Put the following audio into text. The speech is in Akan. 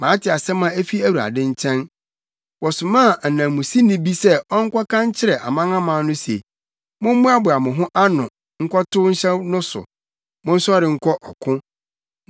Mate asɛm a efi Awurade nkyɛn: wɔsomaa ananmusini bi sɛ ɔnkɔka nkyerɛ amanaman no se, “Mommoaboa mo ho ano nkɔtow nhyɛ no so! Monsɔre nkɔ ɔko!”